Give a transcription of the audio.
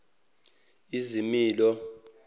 izimilo